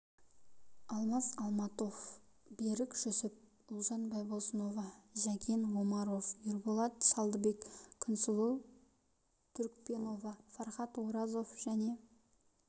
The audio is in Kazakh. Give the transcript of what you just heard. алмас алматов берік жүсіп ұлжан байбосынова жәкен омаров ерболат шалдыбек күнсұлу түркпенова фархат оразов және